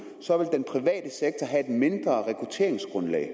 have et mindre rekrutteringsgrundlag